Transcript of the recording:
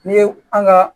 Ne ye an ka